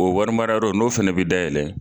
O wari mara yɔrɔ n'o fɛnɛ bɛ da yɛlɛ.